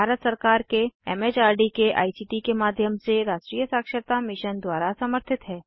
यह भारत सरकार के एम एच आर डी के आई सी टी के माध्यम से राष्ट्रीय साक्षरता मिशन द्वारा समर्थित है